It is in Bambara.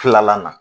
Kilalan na